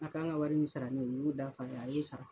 A kan ŋa wari min sara ne u y'o da f'a ye, a y'o sara.